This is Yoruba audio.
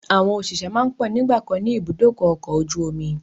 Àwọn òṣìṣẹ́ máa ń pọ̀ nígbàkan ni ibùdókọ̀ ọkọ̀ ojú omi